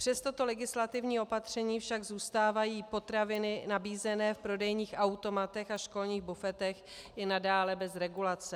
Přes toto legislativní opatření však zůstávají potraviny nabízené v prodejních automatech a školních bufetech i nadále bez regulace.